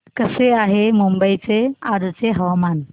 कसे आहे मुंबई चे आजचे हवामान